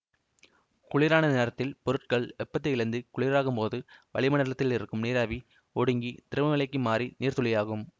குளிரான நேரத்தில் பொருட்கள் வெப்பத்தை இழந்து குளிராகும்போது வளிமண்டலத்தில் இருக்கும் நீராவி ஒடுங்கி திரவ நிலைக்கு மாறி நீர் துளியாகும்